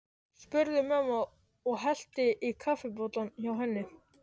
spurði mamma og hellti í kaffibollann hjá henni.